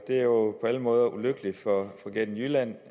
er jo på alle måder ulykkeligt for fregatten jylland